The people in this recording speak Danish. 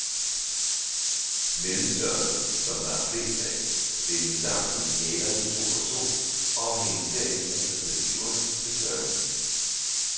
Mellemstørrelsen, som der er flest af, bindes sammen i halerne to og to, og hænges derefter på stativerne til tørring.